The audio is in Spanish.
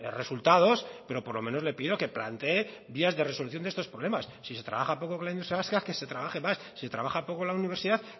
resultados pero por lo menos le pido que plantee vías de resolución de estos problemas si se trabaja poco con la industria vasca que se trabaje más si se trabaja poco en la universidad